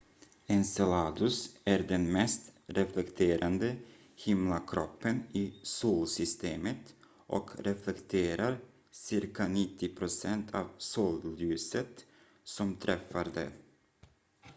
enceladus är den mest reflekterande himlakroppen i solsystemet och reflekterar cirka 90 procent av solljuset som träffar det